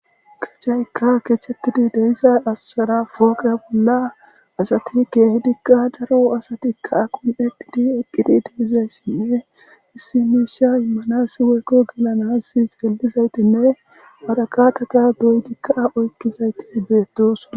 Kechayka kechetidi de'iza bolla poqeasati de'zaytika daro asatika kun'etidi eqidi de'izaysanne issi misha imanasi woykon kelanasi waraqataka wuretika oyidayti betosona